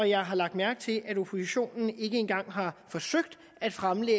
jeg har lagt mærke til at oppositionen ikke engang har forsøgt at fremsætte